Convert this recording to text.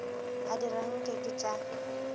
a dira nke ke tša